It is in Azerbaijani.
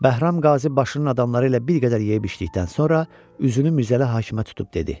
Bəhram Qazi başının adamları ilə bir qədər yeyib içdikdən sonra üzünü Mirzəli Hakimə tutub dedi: